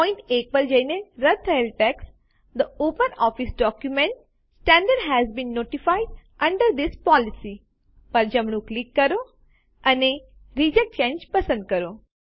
point 1 પર જઈને રદ્દ થયેલ text the OpenOffice document standard has been notified under this policy પર જમણું ક્લિક કરો અને રિજેક્ટ ચાંગે પસંદ કરો